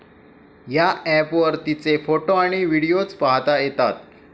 या अॅपवर तिचे फोटो आणि व्हिडिओज पाहता येतात.